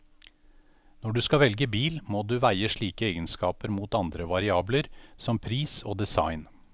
Når du skal velge bil, må du veie slike egenskaper mot andre variabler, som pris og design.